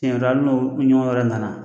Siɲɛ wɛrɛ hali n'o wɛrɛ nana